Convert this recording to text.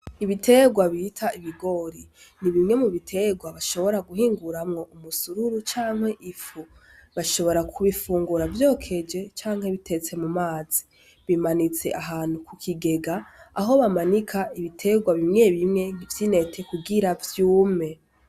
Ibitegwa bita ibigori ni bimwe mu bitegwa bashobora guhinguramwo umusururu canke ifu. Bashobora kubifungura vyokeje canke biteste mu mazi. Bimanitse ahantu ku kigega aho bamanika ibitegwa bimwe bimwe vy'intete kugira vyume.